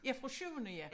Ja fra syvende ja